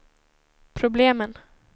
problemen